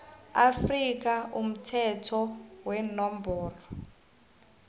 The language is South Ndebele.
afrika umthetho wenomboro